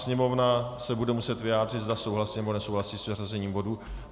Sněmovna se bude muset vyjádřit, zda souhlasí, nebo nesouhlasí s vyřazením bodu.